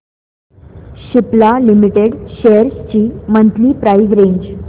Cipla limited shares ची monthly price range